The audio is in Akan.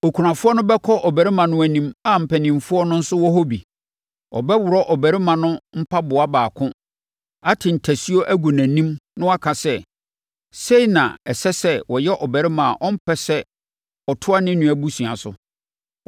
okunafoɔ no bɛkɔ ɔbarima no anim a mpanimfoɔ no nso wɔ hɔ bi. Ɔbɛworɔ ɔbarima no mpaboa baako, ate ntasuo agu nʼanim na waka sɛ, “Sei na ɛsɛ sɛ wɔyɛ ɔbarima a ɔmpɛ sɛ ɔtoa ne nua abusua so.”